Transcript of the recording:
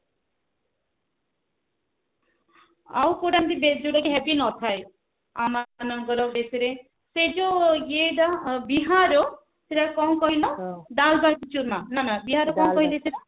ଆଉ କୋଉ ଟା ଯୋଉଟା କି heavy ନଥାଏ ଆମ ମାନଙ୍କର dish ରେ ସେ ଯୋଉ ଏଟା ବିହାର ର ସେଟା କଣ କହିଲ ଡାଲବାଟି ଚୁରମା ନା ନା ବିହାର ର କଣ କହିଲା ସେଟା